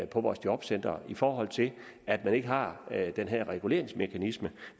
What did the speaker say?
på vores jobcentre i forhold til at man ikke har den her reguleringsmekanisme